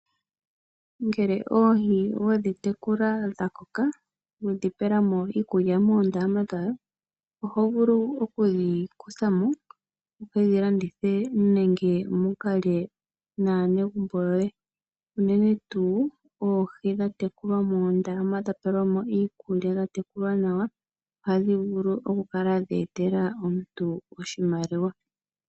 Ngele oohi wedhi tekula dha koka, wedhi pela mo iikulya moondama dhawo, oho vulu okudhi kutha mo, wu ke dhi landithe, nenge mu ka lye naanegumbo yoye. Unene tuu oohi dha tekulwa moondama, dha pelwa mo iikulya, ohadhi vulu oku etela omuntu oshimaliwa.